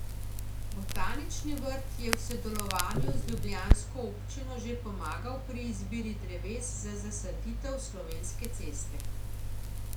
Botanični vrt je v sodelovanju z ljubljansko občino že pomagal pri izbiri dreves za zasaditev Slovenske ceste.